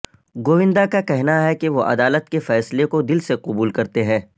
گوندا کا کہنا ہے کہ وہ عدالت کے فیصلے کو دل سے قبول کرتے ہیں